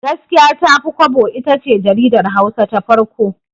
Gaskiya Tafi Kwabo itace jaridar Hausa ta farko.